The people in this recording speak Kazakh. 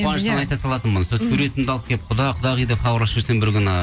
қуаныштан айта салатынмын сол суретімді алып келіп құда құдағи деп хабарласып жүрсем бір күні